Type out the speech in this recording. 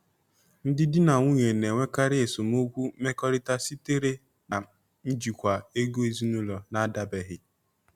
Ndị di na nwunye na-enwekarị esemokwu mmekọrịta sitere na njikwa ego ezinụlọ na-adabaghị.